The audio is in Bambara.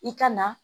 I ka na